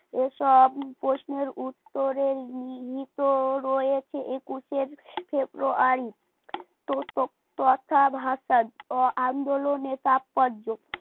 এসব প্রশ্নের উত্তরের নিহিত রয়েছে একুশে ফেব্রুয়ারি ত কথা ভাষা আন্দোলনের তাৎপর্য